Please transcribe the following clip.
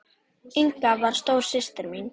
Inga var stóra systir mín.